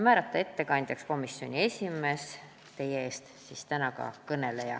Ettekandjaks määrati komisjoni esimees, kes teie ees täna ka kõneleb.